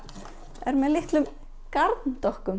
er með litlum